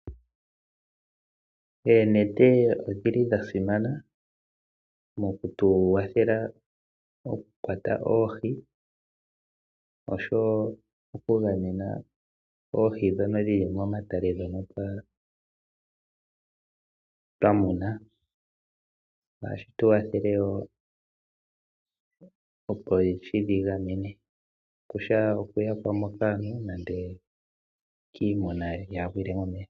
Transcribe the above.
Oonete odhili dha simana mokutu wathela oku kwata oohi oshowo oku gamena oohi dhono dhili momatale dhono twamuna. Ohashi tuwathele wo opo tudhi gamene kutya oku yakwamo kaantu nande kiimuna yaa gwile momeya.